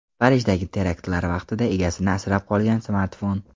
Parijdagi teraktlar vaqtida egasini asrab qolgan smartfon.